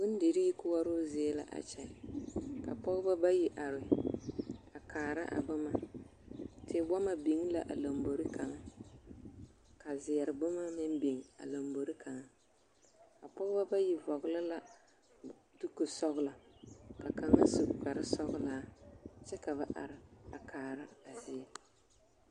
Bondirii koɔroo zie la a kyɛ ka pɔgebɔ bayi are a kaara a boma tewɔmɔ biŋ la a lombori kaŋa ka zeɛre boma meŋ biŋ a lombori kaŋa, a pɔgebɔ bayi vɔgele la dukusɔgelɔ ka kaŋa su kpare sɔgelaa kyɛ ka ba are a kaara a zie.